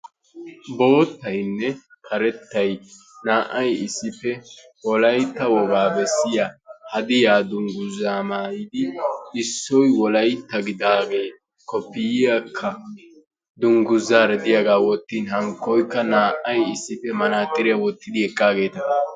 Boottaynne karettay naa"ay issippe wolaytta wogaa besiya hadiya dungguzza maayidi issoy wolaytta gidaage koppiyaakka dunguzzaara diyagaa wottin hankkoykka naa"ay issippe mantaaxxiritiya wottidi eqqaageeta.